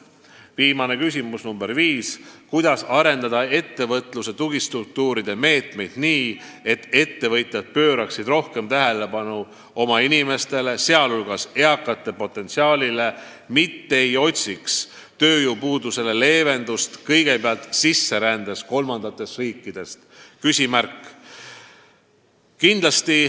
Viimane küsimus, nr 5: "Kuidas arendada ettevõtluse tugistruktuuride meetmeid nii, et ettevõtjad pööraksid rohkem tähelepanu oma inimestele, sealhulgas eakamate potentsiaalile, mitte ei otsiks tööjõupuudusele leevendust kõigepealt sisserändes kolmandatest riikidest?